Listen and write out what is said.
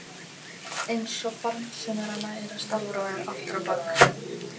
Einsog barn sem er að læra stafrófið aftur á bak.